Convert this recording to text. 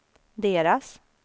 deras